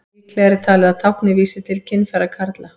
Líklegra er talið að táknið vísi til kynfæra kvenna.